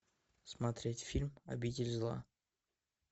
смотреть фильм обитель зла